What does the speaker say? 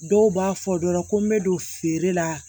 Dɔw b'a fɔ dɔ la ko n bɛ don feere la